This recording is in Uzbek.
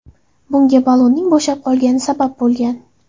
Bunga ballonning bo‘shab qolgani sabab bo‘lgan.